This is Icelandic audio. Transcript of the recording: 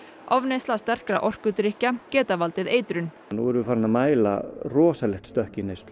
ofneysla sterkra orkudrykkja geta valdið eitrun nú erum við farin að mæla rosalegt stökk í neyslu